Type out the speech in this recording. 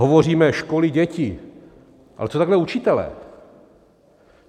Hovoříme - školy, děti, ale co takhle učitelé?